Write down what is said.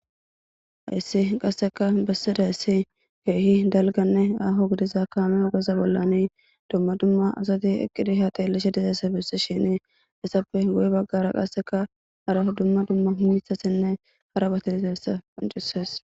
hayssi qasseka bessida ssi keehi dalganne aho gidiza kaame ogeza bollani dumma dumma asati eqqidi haaqeellishe dizeessabis shini hessappe goye baggara qasseka araho dumma dumma humithasenne harabatiliteessa qoncises